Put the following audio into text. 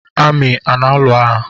Amị a na alụ agha?